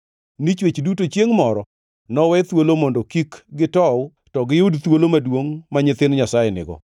ni chwech duto chiengʼ moro nowe thuolo mondo kik gitow to giyud thuolo maduongʼ ma nyithind Nyasaye nigo.